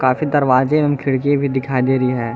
काफी दरवाजे और खिड़की भी दिखाई दे रही है।